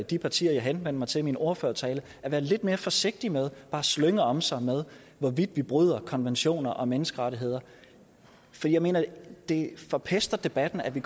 de partier jeg henvendte mig til i min ordførertale at være lidt mere forsigtig med bare at slynge om sig med hvorvidt vi bryder konventioner og menneskerettigheder for jeg mener det forpester debatten at vi